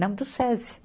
Não, do Sesi.